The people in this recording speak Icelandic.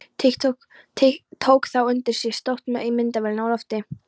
Tók þá undir sig stökk með myndavélina á lofti.